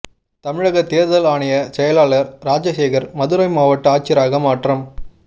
தமிழக தேர்தல் ஆணைய செயலாளர் ராஜசேகர் மதுரை மாவட்ட ஆட்சியராக மாற்றம்